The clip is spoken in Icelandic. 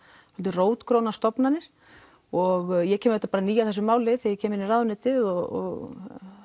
rótgrónar stofnanir og ég kem auðvitað ný að þessu máli þegar ég kem inn í ráðuneytið og